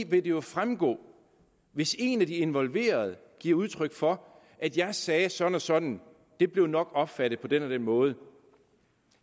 det jo fremgå hvis en af de involverede giver udtryk for jeg sagde sådan sådan og det blev nok opfattet på den måde